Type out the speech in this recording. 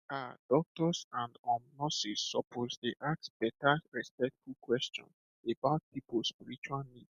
um doctors and um nurses suppose dey ask better respectful question about people spiritual needs